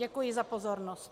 Děkuji za pozornost.